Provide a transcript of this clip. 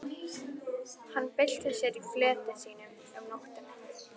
Hann bylti sér í fleti sínu um nóttina.